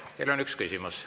Teile on vähemalt üks küsimus.